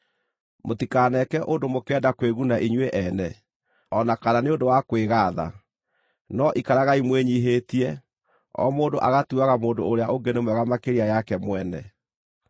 Mũtikaneke ũndũ mũkĩenda kwĩguna inyuĩ ene, o na kana nĩ ũndũ wa kwĩgaatha, no ikaragai mwĩnyiihĩtie, o mũndũ agatuaga mũndũ ũrĩa ũngĩ nĩ mwega makĩria yake mwene.